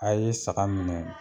A ye saga minɛ.